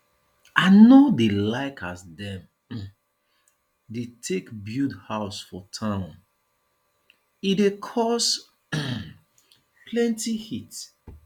i no dey like as dem um dey take build house for town e dey cause um plenty heat